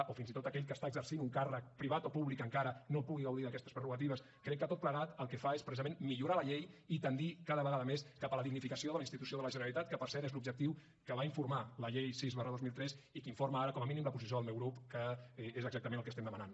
o fins i tot aquell que està exercint un càrrec privat o públic encara no pugui gaudir d’aquestes prerrogatives crec que tot plegat el que fa és precisament millorar la llei i tendir cada vegada més cap a la dignificació de la institució de la generalitat que per cert és l’objectiu que va informar la llei sis dos mil tres i que informa ara com a mínim la posició del meu grup que és exactament el que estem demanant